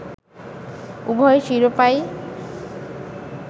উভয় শিরোপাই